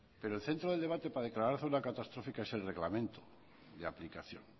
pero el centro del debate para declarar zona catastrófica es el reglamento de aplicación